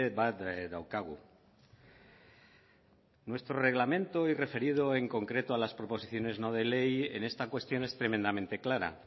bat daukagu nuestro reglamento y referido en concreto a las proposiciones no de ley en esta cuestión es tremendamente clara